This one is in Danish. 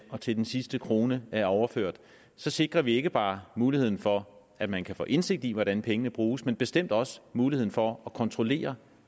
og til den sidste krone er overført sikrer vi ikke bare muligheden for at man kan få indsigt i hvordan pengene bruges men bestemt også muligheden for at kontrollere